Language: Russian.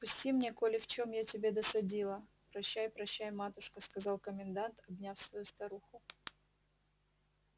отпусти мне коли в чем я тебе досадила прощай прощай матушка сказал комендант обняв свою старуху